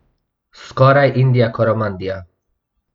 Skoraj Indija Koromandija.